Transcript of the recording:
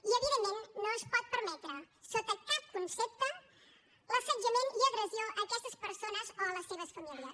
i evidentment no es pot permetre sota cap concepte l’assetjament i agressió a aquestes persones o a les seves famílies